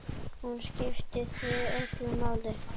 Hún skipti þig öllu máli.